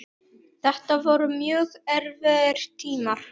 Þetta voru mjög erfiðir tímar.